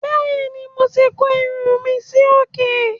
Bẹ́ẹ̀ ni, mo ti kó irun mi sí òkè.